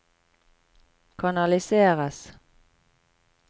kanaliseres